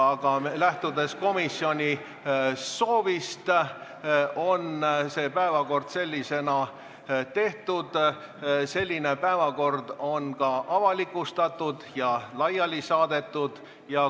Aga lähtudes komisjoni soovist on see päevakord sellisena tehtud, selline päevakord on ka avalikustatud ja laiali saadetud.